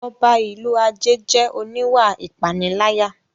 Ọba ìlú Ajé jẹ́ oníwà ìpániláyà